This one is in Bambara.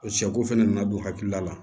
Sɛko fɛnɛ nana don hakilila la